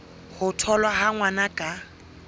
ho tholwa ha ngwana ka